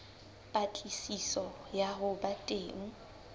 patlisiso ya ho ba teng